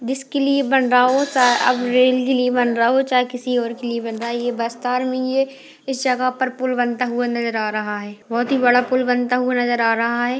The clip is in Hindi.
जिसके लिए बन रहा हो चाहे अब रेल के लिए बन रहा हो चाहे किसी और के लिए बन रहा हो ये बस्तर मे ई हैं इस जगह पर पुल बनता हुआ नजर आ रहा है बहोत ही बड़ा पुल बनता हुआ नजर आ रहा हैं